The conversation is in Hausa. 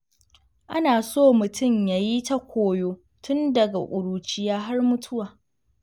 Ana so mutum yayi ta koyo tun daga ƙuruciya har mutuwa.